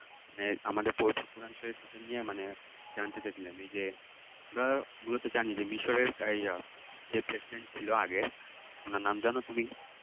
মানে আমাদের পবিত্র কোরআন শরীফকে নিয়ে মানে জানতে চাইছিলেন এই যে আমরা মূলত জানি মিশরের যে President ছিলো আগের ওনার নাম জানো তুমি